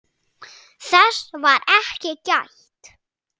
Þess var ekki gætt.